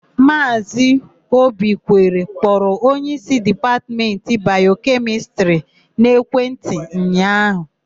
Maazị Obikwere kpọrọ onyeísí Dipatmentị Bayokemịstịrị n'ekwentị ụnyaahụ.